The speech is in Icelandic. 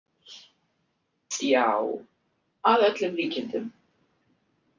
Já, að öllum líkindum.